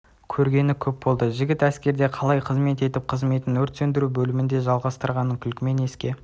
көргені көп болды жігіт әскерде қалай қызмет етіп қызметін өрт сөндіру бөлімінде жалғастырғаның күлкімен еске